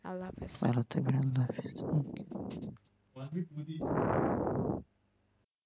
আল্লাহ্‌ হাফেজ, আল্লাহ্‌ হাফেজ, হম